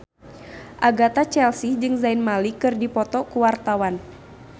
Agatha Chelsea jeung Zayn Malik keur dipoto ku wartawan